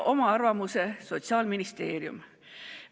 Oma arvamuse saatis ka Sotsiaalministeerium.